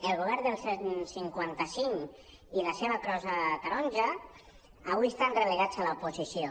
el govern del cent i cinquanta cinc i la seva crossa taronja avui estan relegats a l’oposició